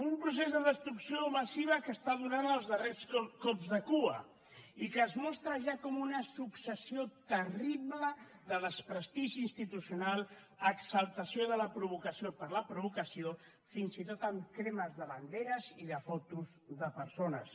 un procés de destrucció massiva que està donant els darrers cops de cua i que es mostra ja com una successió terrible de desprestigi institucional exaltació de la provocació per la provocació fins i tot amb cremes de banderes i de fotos de persones